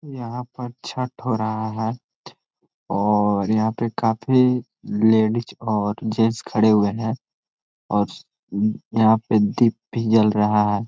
यहाँ पर छठ हो रहा है और यहाँ पे काफ़ी लेडीज और जेन्ट्स खड़े हुए है और यहाँ पे दीप भी जल रहा है।